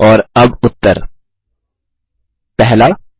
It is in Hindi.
और अब उत्तर 1